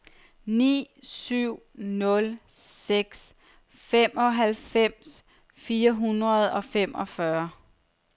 ni syv nul seks femoghalvfems fire hundrede og femogfyrre